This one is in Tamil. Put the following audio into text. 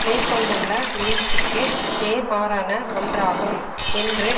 மேற்கொண்டுள்ள முயற்சிக்கு நேர்மாறான ஒன்றாகும் என்று